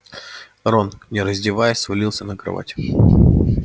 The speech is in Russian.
рон не раздеваясь свалился на кровать